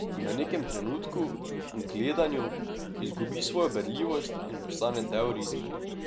V nekem trenutku, gledanju, izgubi svojo berljivost in postane del risbe.